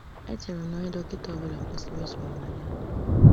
Echere m na onye dọkịta ọ bụla kwesịrị isonye na ya.